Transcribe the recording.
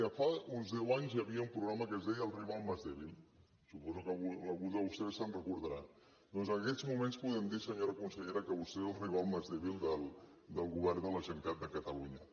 miri fa uns deu anys hi havia un programa que es deia el rival más débilque alguns de vostès se’n deuen recordar doncs en aquests moments podem dir senyora consellera que vostè és el rival más débil del govern de la generalitat de catalunya